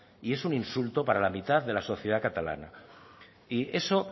y es un insulto para la mitad de la sociedad catalana y eso